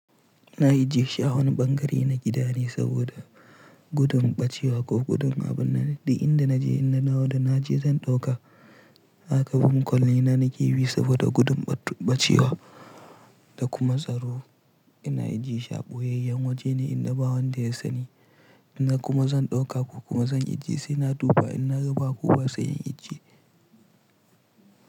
Ina ijiye shi a wani ɓangare na gida ne saboda gudun ɓacewa ko gudun abin da inda na je in na dawo da na je zan ɗauka. Haka bin kwale na na kifi saboda gudun ɓat ɓacewa da kuma tsaro. Ina ajjiye shi a ɓoyayyen waje ne in na ba wanda ya sani. Ina kuma zan ɗauka ko kuma zan ajjiye sai na duba in na ga ba kowa ba sai in ijje.